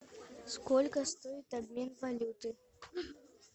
сколько стоит обмен валюты